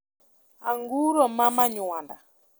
anguro ma manywanda